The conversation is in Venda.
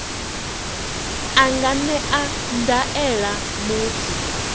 a nga ṅea ndaela muthu